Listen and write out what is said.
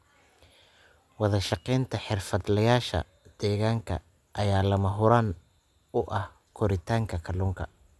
Wadashaqeynta xirfadlayaasha deegaanka ayaa lama huraan u ah koritaanka kalluunka.